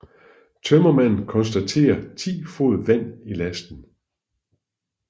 Tømmermanden konstaterer 10 fod vand i lasten